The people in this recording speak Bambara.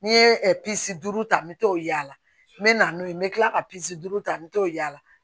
N'i ye pisi duuru ta n bɛ to yaala me na n'o ye me kila ka duuru ta met'la